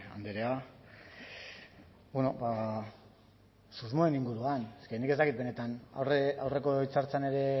andrea bueno ba susmoen inguruan eske nik ez dakit benetan aurreko hitza hartzean ere